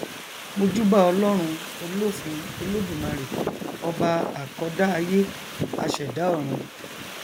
mojúbà ọlọrun olófin olódùmarè ọba àkọdá aiye aṣẹdá ọrun